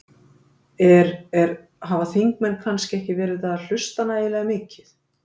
Er, er, hafa þingmenn kannski ekki verið að hlusta nægilega mikið?